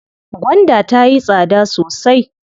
Gwanda tayi tsada sosai.